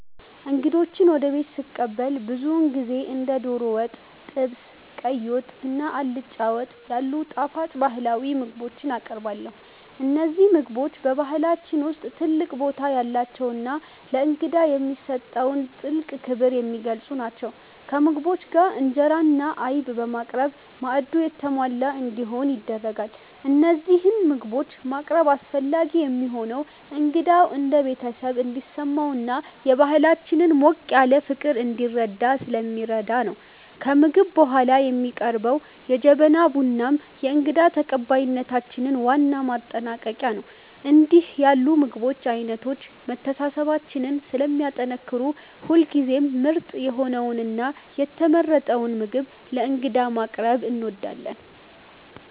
እንግዶችን ወደ ቤት ስቀበል ብዙውን ጊዜ እንደ ዶሮ ወጥ፣ ጥብስ፣ ቀይ ወጥ እና አልጫ ወጥ ያሉ ጣፋጭ ባህላዊ ምግቦችን አቀርባለሁ። እነዚህ ምግቦች በባህላችን ውስጥ ትልቅ ቦታ ያላቸውና ለእንግዳ የሚሰጠውን ጥልቅ ክብር የሚገልጹ ናቸው። ከምግቦቹ ጋር እንጀራ እና አይብ በማቅረብ ማዕዱ የተሟላ እንዲሆን ይደረጋል። እነዚህን ምግቦች ማቅረብ አስፈላጊ የሚሆነው እንግዳው እንደ ቤተሰብ እንዲሰማውና የባህላችንን ሞቅ ያለ ፍቅር እንዲረዳ ስለሚረዳ ነው። ከምግብ በኋላ የሚቀርበው የጀበና ቡናም የእንግዳ ተቀባይነታችን ዋና ማጠናቀቂያ ነው። እንዲህ ያሉ የምግብ አይነቶች መተሳሰባችንን ስለሚያጠናክሩ ሁልጊዜም ምርጥ የሆነውንና የተመረጠውን ምግብ ለእንግዳ ማቅረብ እንወዳለን።